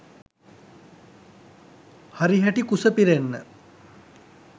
හරිහැටි කුස පිරෙන්න